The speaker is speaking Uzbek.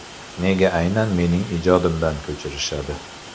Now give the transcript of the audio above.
Nega aynan mening ijodimdan ko‘chirishadi?